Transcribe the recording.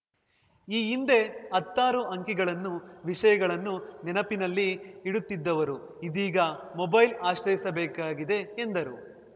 ಈ ಹಿಂದೆ ಹತ್ತಾರು ಅಂಕಿಗಳನ್ನು ವಿಷಯಗಳನ್ನು ನೆನಪಿನಲ್ಲಿ ಇಡುತ್ತಿದ್ದವರು ಇದೀಗ ಮೊಬೈಲ್‌ ಆಶ್ರಯಿಸಬೇಕಾಗಿದೆ ಎಂದರು